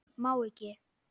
Má ekki.